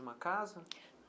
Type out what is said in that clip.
Numa casa?